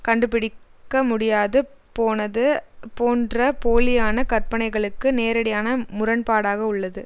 கண்டுபிடிக்க முடியாது போனது போன்ற போலியான கற்பனைகளுக்கு நேரடியான முரண்பாடாக உள்ளது